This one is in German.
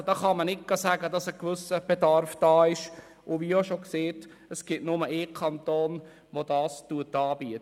Somit kann man nicht von einem gewissen Bedarf sprechen, und wie auch schon gesagt, es gibt nur einen Kanton, der dies anbietet.